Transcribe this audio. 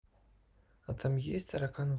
а там есть таракан